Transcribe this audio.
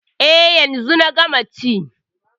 E, yanzu na gama ci.